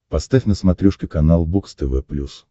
поставь на смотрешке канал бокс тв плюс